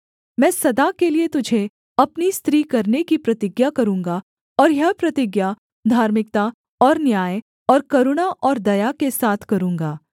मैं सदा के लिये तुझे अपनी स्त्री करने की प्रतिज्ञा करूँगा और यह प्रतिज्ञा धार्मिकता और न्याय और करुणा और दया के साथ करूँगा